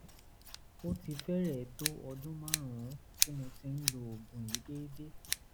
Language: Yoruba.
ó ti fẹ́rẹ̀ẹ́ tó ọdún márùn-ún tí mo ti ń lo oògùn yìí déédé